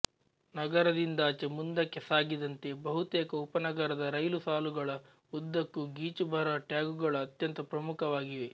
ನಗರದಿಂದಾಚೆ ಮುಂದಕ್ಕೆ ಸಾಗಿದಂತೆ ಬಹುತೇಕ ಉಪನಗರದ ರೈಲು ಸಾಲುಗಳ ಉದ್ದಕ್ಕೂ ಗೀಚುಬರಹ ಟ್ಯಾಗುಗಳು ಅತ್ಯಂತ ಪ್ರಮುಖವಾಗಿವೆ